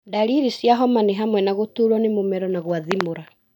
Ndariri cia homa nĩ hamwe na gũturwo nĩ mũmero na gwathimũra.